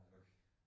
Okay